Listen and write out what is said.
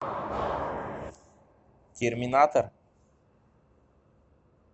терминатор